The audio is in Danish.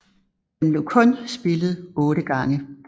Den blev kun spillet 8 gange